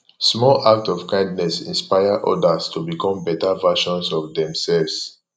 small acts of kindness inspire odas to become beta versions of demselves